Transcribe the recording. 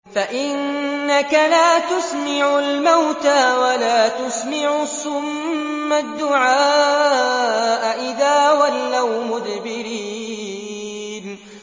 فَإِنَّكَ لَا تُسْمِعُ الْمَوْتَىٰ وَلَا تُسْمِعُ الصُّمَّ الدُّعَاءَ إِذَا وَلَّوْا مُدْبِرِينَ